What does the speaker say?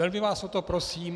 Velmi vás o to prosím.